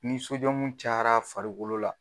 Ni cayara farikolo la